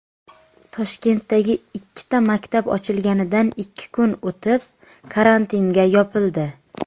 Toshkentdagi ikkita maktab ochilganidan ikki kun o‘tib karantinga yopildi.